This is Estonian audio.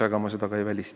Aga ma seda ka ei välista.